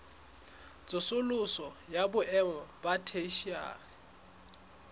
tsosoloso ya boemo ba theshiari